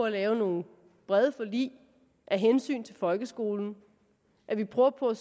lave nogle brede forlig af hensyn til folkeskolen og at vi prøver på